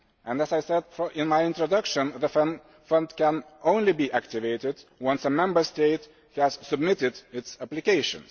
As I said in my introduction, the Fund can only be activated once a Member State has submitted its application.